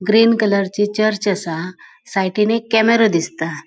ग्रीन कलरची चर्च असा साइडीन एक केमेरा दिसता.